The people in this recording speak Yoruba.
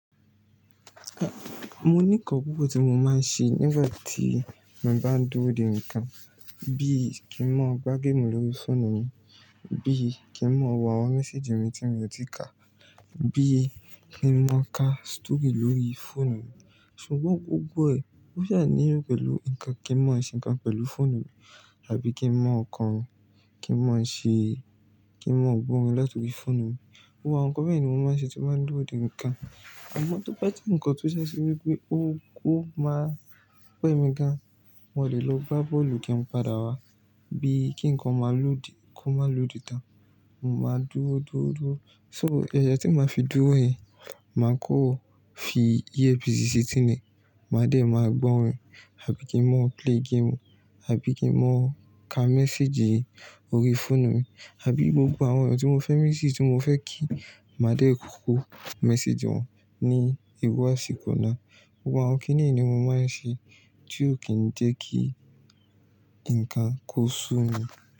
Mo ní nǹkan pupo tí mo máa ń ṣe nígbà tí mo bá ń dúró dè nǹkan. Bí i kí n ma gbá game lórí fóònù mi, bí i kí n mọ wo àwọn message mi tí mo ti kà, bí i kí n ma ka story lórí fóònù mi. Ṣùgbọ́n gbogbo ẹ̀ ó jẹ̀ ní yó pẹ̀lú nǹkan kí n mọ ṣe nǹkan pẹ̀lú fóònù mi, àbí kí n ma ko, kí n ma ṣe-- kí n gbọ́ orin láti orí fóònù mi. Gbogbo àwọn nǹkan bẹ́ẹ̀ yen ni mo máa ń ṣe tí mo bá ń dúró dè nǹkan. Ọmọ tó bá je nǹkan tó sẹ́ ṣe wípé ó ó máa pẹ́ mi gan, mo lè lo gbá bọ́ọ̀lù kí n padà wá. Bí i kí nǹkan máa lòdì, kó máa lòdì tán. Mo máa dúró, dúró, dúró. So, ẹ̀yẹ tí ma fi dúró yẹ̀n, màá kó o fi Ìyépisì sì etìnì, màá dè máa gbọ́ orin, àbí kí n mọ play game, àbí kí n mọ ka message lórí fóònù mi, àbí gbogbo àwọn ẹni tí mo fẹ́ message tí mo fẹ́ kí màá dè kókuku message wọn ní ìrú àsíko ná. Gbogbo àwọn kí nìyí ni mo máa ń ṣe tí ó kì ń jẹ́ kí nǹkan kó sú mi.